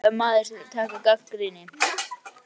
En hann er líka maður til að taka gagnrýni.